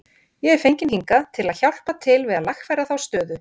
Ég er fenginn hingað til að hjálpa til við að lagfæra þá stöðu.